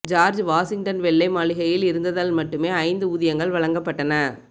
George Washington வெள்ளை மாளிகையில் இருந்ததால் மட்டுமே ஐந்து ஊதியங்கள் வழங்கப்பட்டன